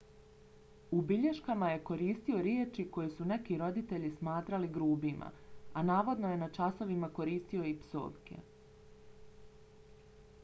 u bilješkama je koristio riječi koje su neki roditelji smatrali grubima a navodno je na časovima koristio i psovke